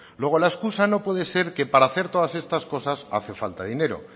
luego la escusa no puede ser que para hacer todas estas cosas hace falta dinero